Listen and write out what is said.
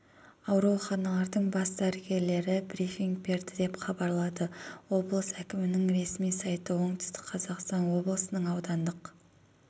ауруханалардың бас дәрілерлері брифинг берді деп хабарлады облыс әкімінің ресми сайты оңтүстік қазақстан облысының аудандық